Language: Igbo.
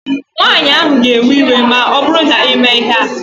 Nwaanyị ahụ ga-ewe iwe ma ọbụrụ na imee ihe a